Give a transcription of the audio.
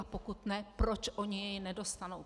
A pokud ne, proč oni jej nedostanou.